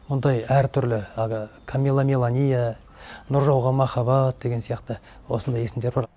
мұндай әртүрлі әгі камилламиланиа нұржауғанмахаббат деген сияқты осындай есімдер бар